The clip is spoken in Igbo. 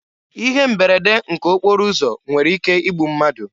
Ihe mberede nke okporo ụzọ nwere ike igbu mmadụ.